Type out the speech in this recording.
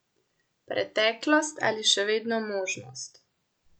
Preteklost ali še vedno možnost?